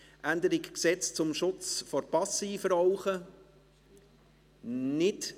3. Änderung des Erlasses 811.51, Gesetz zum Schutz vor Passivrauchen vom 10.09.2008 (SchPG), Stand 01.07.2009 /